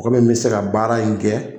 Kɔmi n bɛ se ka baara in kɛ